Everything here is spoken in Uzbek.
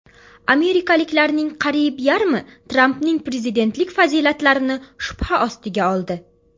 Amerikaliklarning qariyb yarmi Trampning prezidentlik fazilatlarini shubha ostiga oldi.